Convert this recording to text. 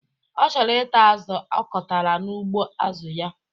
Ọ chọrọ ita azụ ọkọtara n'ugbo azụ ya